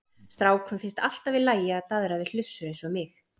Strákum finnst alltaf í lagi að daðra við hlussur eins og mig.